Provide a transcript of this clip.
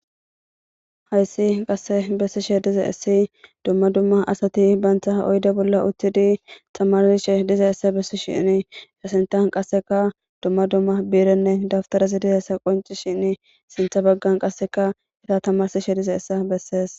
hayssi qasse bessishe dize essi dumma dumma asati bantha oyde bolla uththidi tamarsishe diza essa bessi shinni yhasentan qasseka dumma dumma biirenne dabtarasi diza essa qonci shinni sintha baggan qasseka era tamarsishe dize essa bessees